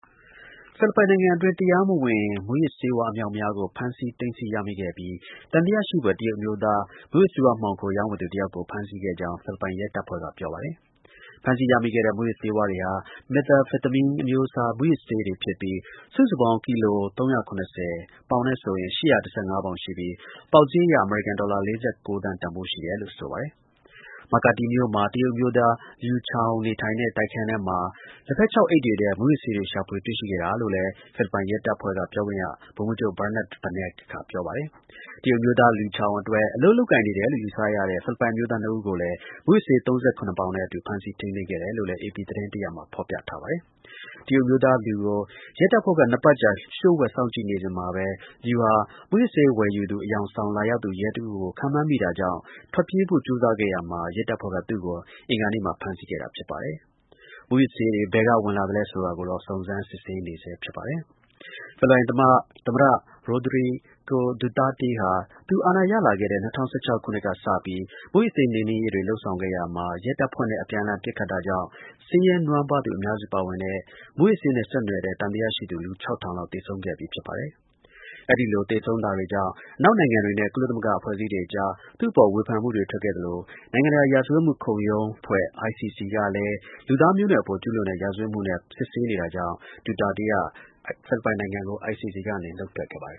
ဖိလစ်ပိုင်နိုင်ငံအတွင်း တရားမဝင် မူးယစ်ဆေးဝါး အမြောက်အမြားကို ဖမ်းဆီး သိမ်းဆည်း ရမိခဲ့ပြီး သံသယ ရှိဖွယ် တရုတ် အမျိုးသား မူးယစ်ဆေးဝါး မှောင်ခို ရောင်းဝယ်သူ တစ်ယောက်ကို ဖမ်းဆီးခဲ့ကြောင်း ဖိလစ်ပိုင် ရဲတပ်ဖွဲ့က ပြောပါတယ်။ ဖမ်းဆီးရမိခဲ့တဲ့ မူးယစ် ဆေးဝါးတွေဟာ methamphetamine အမျိုးအစား မူးယစ်ဆေးတွေဖြစ်ပြီး စုစုပေါင်း ကီလို ၃၇၀ (ပေါင်နဲ့ဆိုရင်) ၈၁၅ ပေါင် ရှိပြီး ပေါက်ဈေး အရ အမေရိကန် ဒေါ်လာ ၄၉ သန်း တန်ဖိုးရှိတယ်လို့ ဆိုပါတယ်။ Makati မြို့မှာ တရုတ်အမျိုးသား Liu Chao နေထိုင်တဲ့ တိုက်ခန်းထဲမှာ လက်ဖက်ခြောက်အိတ် တွေထဲ မူးယစ်ဆေးတွေ ရှာဖွေ တွေ့ရှိခဲ့တာလို့လည်း ဖိလစ်ပိုင် ရဲတပ်ဖွဲ့က ပြောခွင့်ရ ဗိုလ်မှူးချုပ် Bernard Banac က ပြောပါတယ်။ တရုတ်အမျိုးသား Liu Chao အတွက် အလုပ်လုပ်ကိုင်နေတယ်လို့ ယူဆရတဲ့ ဖိလစ်ပိုင် အမျိုးသား ၂ ဦးကိုလည်း မူးယစ်ဆေး ၃၇ ပေါင်နဲ့အတူ ဖမ်းဆီးထိန်းသိမ်းခဲ့ တယ်လို့လည်း AP သတင်းတစ်ရပ်မှာ ဖော်ပြထားပါတယ်။ တရုတ်အမျိုးသား Liu ကို ရဲတပ်ဖွဲ့က နှစ်ပတ်ကြာ လျို့ဝှက်စောင့်ကြည့်နေစဉ်မှာပဲ Liu ဟာ မူးယစ်ဆေး ဝယ်ယူသူ အယောင်ဆောင် လာရောက်သူ ရဲတဦးကို ခန့်မှန်းမိတာကြောင့် ထွက်ပြေးဖို့ ကြိုးစားခဲ့ရာမှာ ရဲတပ်ဖွဲ့က သူ့ကို အင်္ဂါနေ့မှာ ဖမ်းဆီးခဲ့တာ ဖြစ်ပါတယ်။ မူးယစ်ဆေးတွေ ဘယ်က ဝင်လာသလဲဆိုတာကိုတော့ စုံစမ်း စစ်ဆေးနေဆဲ ဖြစ်ပါတယ်။ ဖိလစ်ပိုင် သမ္မတ Rodrigo Duterte ဟာ သူ အာဏာရလာတဲ့ ၂၀၁၆ ခုနှစ်က စပြီး မူးယစ်ဆေး နှိမ်နင်းရေးတွေ လုပ်ဆောင်ခဲ့ရာမှာ ရဲတပ်ဖွဲ့နဲ့ အပြန်အလှန် ပစ်ခတ်တာကြောင့် ဆင်းရဲနွမ်းပါးသူ အများစု ပါဝင်တဲ့ မူးယစ်ဆေးနဲ့ ဆက်နွယ်တဲ့ သံသယရှိသူ လူ ၆၀၀၀ လောက် သေဆုံးခဲ့ပြီးဖြစ်ပါတယ်။ အဲဒီလို သေဆုံးတာတွေကြောင့် အနောက်နိုင်ငံတွေနဲ့ ကုလသမဂ္ဂ အဖွဲ့အစည်းတွေအကြား သူ့အပေါ် ဝေဖန်မှုတွေ ပေါ်ထွက်ခဲ့သလို နိုင်ငံတကာ ရာဇဝတ် ခုံရုံး ICC ကလည်း လူသားမျိုးနွယ်အပေါ် ကျူးလွန်တဲ့ ရာဇဝတ်မှုနဲ့ စစ်ဆေးနေ တာကြောင့် ဒူတာတေးက ICC က နုတ်ထွက်ခဲ့ပါတယ်